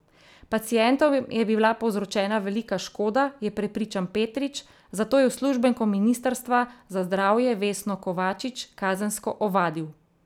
Pacientom je bila povzročena velika škoda, je prepričan Petrič, zato je uslužbenko ministrstva za zdravje Vesno Kovačič kazensko ovadil.